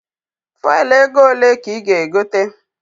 Fuelu ego ole ka ị ga- egote?